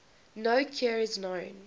no cure is known